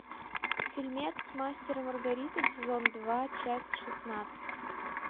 фильмец мастер и маргарита сезон два часть шестнадцать